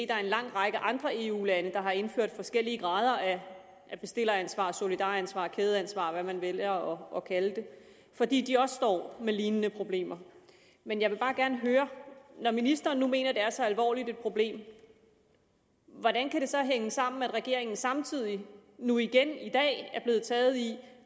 der er en lang række andre eu lande der har indført forskellige grader af bestilleransvar og solidaransvar kædeansvar og hvad man vælger at kalde det fordi de også står med lignende problemer men jeg vil bare gerne høre når ministeren nu mener at det er så alvorligt et problem hvordan kan det så hænge sammen at regeringen samtidig nu igen i dag er blevet taget i